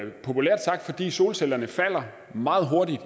solcellerne meget hurtigt